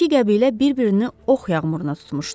İki qəbilə bir-birini ox yağmuruna tutmuşdu.